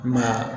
I ma ye